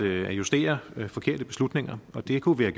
at justere forkerte beslutninger og det kunne vi